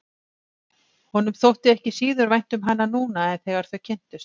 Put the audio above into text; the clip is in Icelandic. Honum þótti ekki síður vænt um hana núna en þegar þau kynntust.